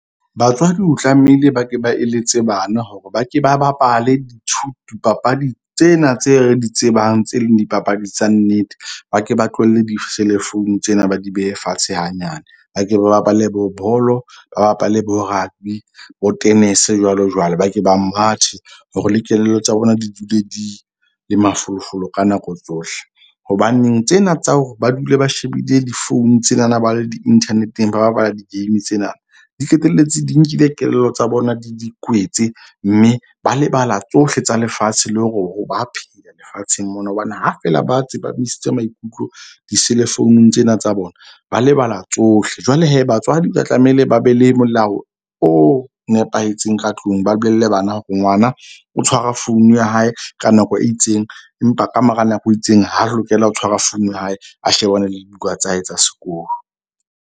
Batswadi o tlamehile ba ke ba eletse bana hore ba ke ba bapale dipapadi tsena tse re di tsebang tse leng dipapadi tsa nnete. Ba ke ba tlohelle di-cell phone tsena, ba di behe fatshe hanyane. Ba ke ba bapale bo bolo, ba bapale bo rugby bo tenese jwalo jwalo. Ba ke ba mathe hore le kelello tsa bona di dule di le mafolofolo ka nako tsohle. Hobaneng tsena tsa hore ba dule ba shebile di-phone tsenana ba le di-internet-eng ba bapala di-game tsena, di qetelletse di nkile kelello tsa bona di di kwetse. Mme ba lebala tsohle tsa lefatshe le hore ba phela lefatsheng mona. Hobane ha feela ba tseba ba tsepamisitse maikutlo di-cell phone-ung tsena tsa bona, ba lebala tsohle. Jwale batswadi ba tlamehile ba be le molao o nepahetseng ka tlung, ba bolelle bana hore ngwana o tshwara phone ya hae ka nako e itseng, empa ka mora nako e itseng, ha lokela ho tshwara phone ya hae. A shebane le dibuka tsa hae tsa sekolo.